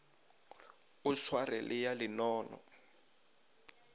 o sware le ya lenono